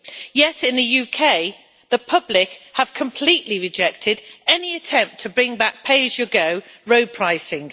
Yet in the UK the public have completely rejected any attempt to bring back pay-as-you-go road pricing.